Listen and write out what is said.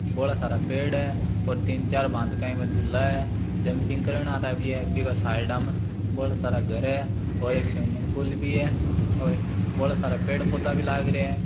बोला सारा पेड़ है और तीन चार भांत का इमा झूला है जम्पींग करण आरा विया है बीका साइडा मे बोला सारा घर है और एक स्विमिंग पूल भी है और बोला सारा पेड़ पौधा भी लाग रिया है।